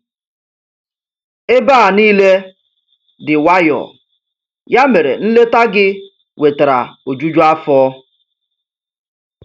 Ebe a niile dị nwayọ, ya mere nleta gị wetara ojuju afọ.